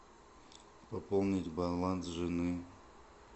пополнить баланс жены